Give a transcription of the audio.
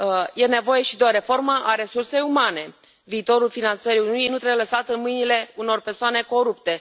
E nevoie și de o reformă a resursei umane viitorul finanțării Uniunii nu trebuie lăsat în mâinile unor persoane corupte.